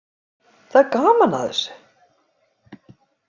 Það er gaman að þessu.